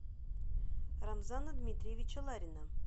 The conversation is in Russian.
рамзана дмитриевича ларина